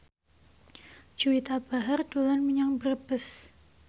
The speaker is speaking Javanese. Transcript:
Juwita Bahar dolan menyang Brebes